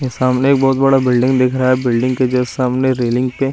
ये सामने एक बहुत बड़ा बिल्डिंग दिख रहा है बिल्डिंग के जस्ट सामने रेलिंग पे--